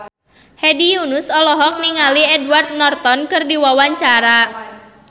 Hedi Yunus olohok ningali Edward Norton keur diwawancara